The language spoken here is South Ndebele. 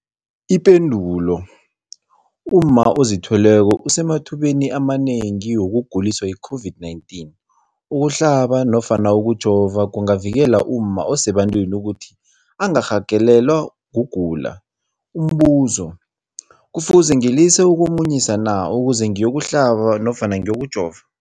Ipendulo, umma ozithweleko usemathubeni amanengi wokuguliswa yi-COVID-19. Ukuhlaba nofana ukujova kungavikela umma osebantwini ukuthi angarhagalelwa kugula. Umbuzo, kufuze ngilise ukumunyisa na ukuze ngiyokuhlaba nofana ngiyokujova?